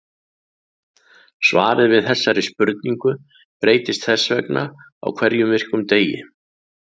Svarið við þessari spurning breytist þess vegna á hverjum virkum degi.